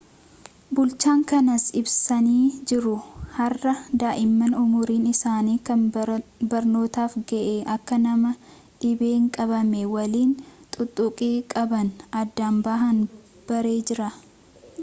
bulchaan kanas ibsanii jiru har'a daa'imman umriin isaani kan barnootaaf ga'e akka nama dhibeen qabame waliin tuttuqqii qaban addaan bahan barree jirra